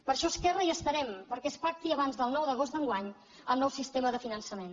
per això esquerra hi estarem perquè es pacti abans del nou d’agost d’enguany el nou sistema de finançament